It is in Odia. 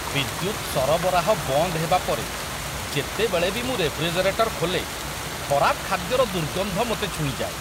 ବିଦ୍ୟୁତ ସରବରାହ ବନ୍ଦ ହେବା ପରେ ଯେତେବେଳେ ବି ମୁଁ ରେଫ୍ରିଜରେଟର ଖୋଲେ, ଖରାପ ଖାଦ୍ୟର ଦୁର୍ଗନ୍ଧ ମୋତେ ଛୁଇଁଯାଏ।